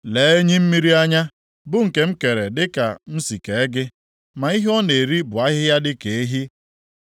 “Lee enyi mmiri anya, bụ nke m kere dịka m si kee gị, ma ihe ọ na-eri bụ ahịhịa dịka ehi.